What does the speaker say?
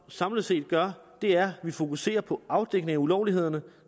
samlet set gør er at vi fokuserer på afdækning af ulovlighederne